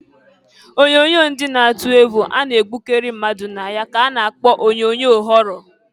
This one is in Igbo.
Onyoonyo ndị na-atụ egwu a na-egbukari mmadụ na ya ka a na-kpọ onyoonyoo họrọ.